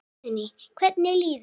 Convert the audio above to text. Guðný: Hvernig líður þér?